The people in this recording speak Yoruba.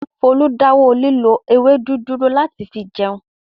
Folú dáwọ́ lílo ewédú dúró láti fi se oúnjẹ.